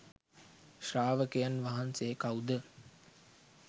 ශ්‍රාවකයන් වහන්සේ කවුද?